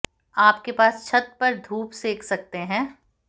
आप के पास छत पर धूप सेंक सकते हैं